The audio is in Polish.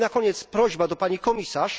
I na koniec prośba do Pani Komisarz.